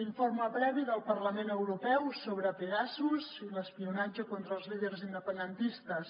l’informe previ del parlament europeu sobre pegasus i l’espionatge contra els líders independentistes